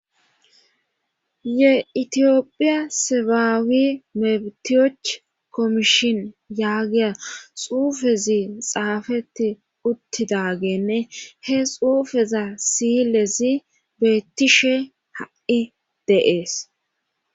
ye itiyophiya sebaawi metiyoch komishin yaagiya xuufezi xaafeti uttidagenne he xuufeza siylezi beettishe ha7i de'ees